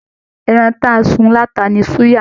Ẹran ti a sùn lata ní suya.